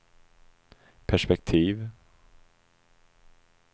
perspektiv